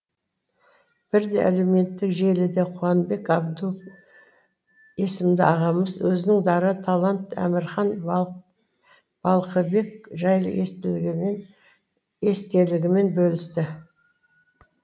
бірде әлеуметтік желіде қуанбек абдул есімді ағамыз өзінің дара талант әмірхан балқыбек жайлы естелігімен бөлісіпті